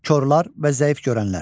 Korlar və zəif görənlər.